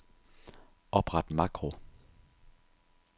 Opret makro.